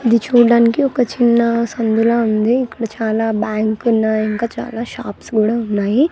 ఇది చూడానికి ఒక చిన్నా సందుల ఉంది ఇక్కడ చాలా బ్యాంక్ ఉన్నాయ్ ఇంకా చాలా షాప్స్ కూడా ఉన్నాయి.